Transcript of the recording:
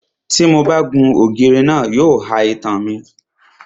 Tí mo bá gun ògiri náà, yóò ha itan mi.